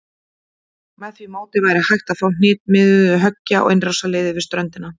Með því móti væri hægt að ná hnitmiðuðu höggi á innrásarliðið við ströndina.